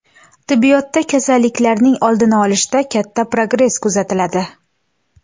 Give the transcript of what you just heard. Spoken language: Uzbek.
Tibbiyotda kasalliklarning oldini olishda katta progress kuzatiladi.